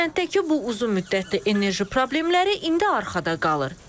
Kənddəki bu uzunmüddətli enerji problemləri indi arxada qalır.